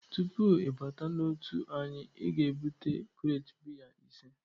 Tupu ị bata n'otu anyị, ị ga-ebute krate biya ise!